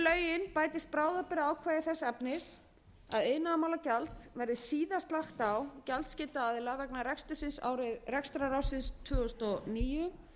við lögin bætist bráðabirgðaákvæði þess efnis að iðnaðarmálagjald verði síðast lagt gjaldskylda aðila vegna rekstrarársins tvö þúsund og níu